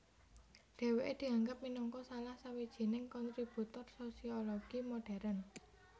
Dheweke dianggap minangka salah sawijining kontributor sosiologi modern